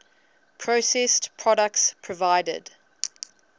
processed products provided